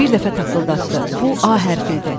Bir dəfə taqqıldatdı, bu A hərfi idi.